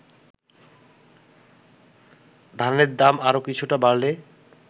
ধানের দাম আরও কিছুটা বাড়লে